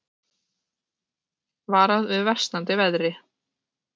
Varað við versnandi veðri